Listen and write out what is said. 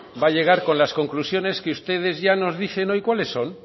va a llegar con las conclusiones que ustedes ya nos dicen hoy cuales son